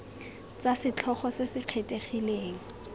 tsa setlhogo se se kgethegileng